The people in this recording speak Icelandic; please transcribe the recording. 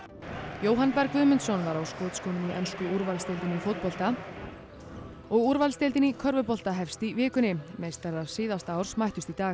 Jóhann Berg Guðmundsson var á skotskónum í ensku úrvalsdeildinni í fótbolta og úrvalsdeildin í körfubolta hefst í vikunni meistarar síðasta árs mættust í dag